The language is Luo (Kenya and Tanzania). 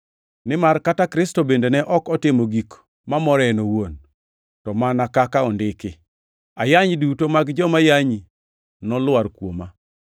Nimar kata Kristo bende ne ok otimo gik mamore en owuon, to mana kaka ondiki: “Ayany duto mag joma yanyi nolwar kuoma.” + 15:3 \+xt Zab 69:9\+xt*